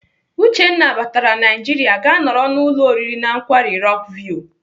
Uchenna batara Naijiria gaa nọrọ n'ụlọ oriri na nkwari Rock view.